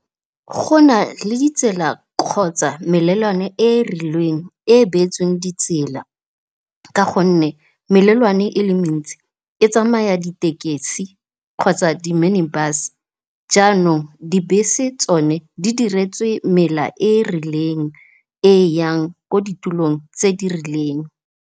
Go nale ditsela kgotsa melelwane e rileng e e beetsweng ditsela ka gonne, melelwane e le mentsi e tsamaya ditekesi kgotsa di-minibus jaanong dibese tsone di diretswe mela e e rileng e yang ko ditulong tse di rileng.